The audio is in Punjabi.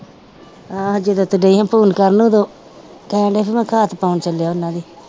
ਆਹੋ ਜਦੋਂ ਤੇ ਡੇ ਫ਼ੋਨ ਕਰਨ ਉਦੋਂ ਕਹਿਣਡਿਆ ਸੀ ਮੈਂ ਘਰ ਪਾਉਣ ਚੱਲਿਆ ਉਹਨਾਂ ਦੇ।